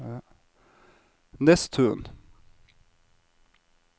Nesttun